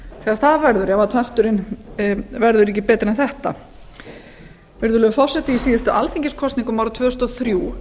það verður ef krafturinn verður ekki betri en þetta virðulegur forseti í síðustu alþingiskosningum árið tvö þúsund og þrjú